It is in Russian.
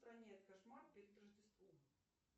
кошмар перед рождеством